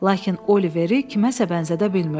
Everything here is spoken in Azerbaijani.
Lakin Oliveri kiməsə bənzədə bilmirdi.